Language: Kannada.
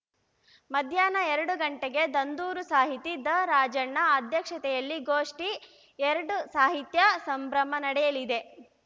ಮಧ್ಯಾಹ್ನ ಎರಡು ಗಂಟೆಗೆ ದಂದೂರು ಸಾಹಿತಿ ದರಾಜಣ್ಣ ಅಧ್ಯಕ್ಷತೆಯಲ್ಲಿ ಗೋಷ್ಠಿ ಎರಡು ಸಾಹಿತ್ಯ ಸಂಭ್ರಮ ನಡೆಯಲಿದೆ